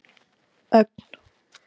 Ögn